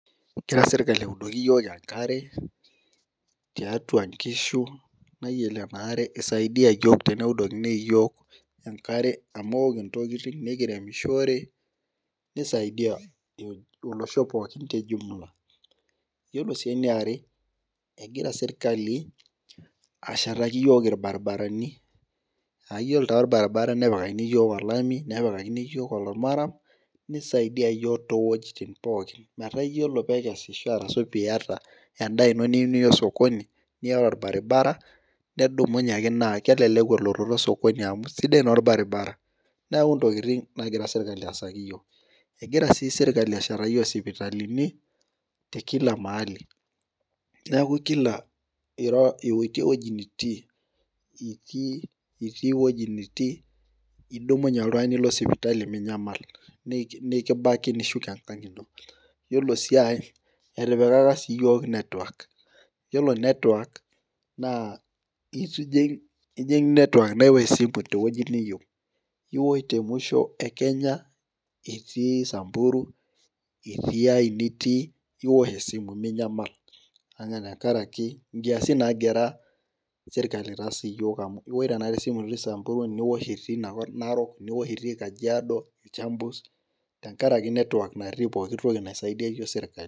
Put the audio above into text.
Egira sirkali audoki iyiook enkare tiatua, nkishu naa iyiolo ena are isaidia iyiook teneudokini iyiook enkare amu eok intokitin nikiremishore, nisaidia olosho pookin te jumula. iyiolo sii eniare, egira sirkali ashetaki iyiook ilbaribarani.aa iyiolo taa olbaribara, nepikakini iyiook olami. nepikakini iyiook almaram. nisaidia iyiook too wuejitin pooki. metaa iyiolo pee ekesisho ashu pee iyata, edaa ino niyieu niya osokoni, niyata olbaribara, nedumunye ake naa kelelek elototo osokoni amu sidai naa olbaribara. neeku ntokitin nagira sokoni aasaki iyiook. egira sii sirkali ashetaki iyiook isipitalini, te Kila mahali. neeku Kila ira ewueji nitii. itii ewueji nitii. idumunye alotu Niko sipitali minyamal. nikibaki nishuko enkang ino. iyiolo sii enkae etipikaka sii iyiook network. iyiolo cs] network. naa. ijing cs] network. naa ekibung' esimu te wueji niyieu .iwosh te musho e Kenya, itii samburu, itii ae nitii ,iwosh esimu minyamal. tenkaraki inkiasin nagira sirkali aitaas iyiolo amu iosh tenakata esimu itii samburu, niosh itii narok, kajiado iltuamus tenkaraki cs] network natii pooki wueji naisaidia iyiook sirkali.